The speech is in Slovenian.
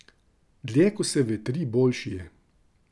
Dlje ko se vetri, boljši je.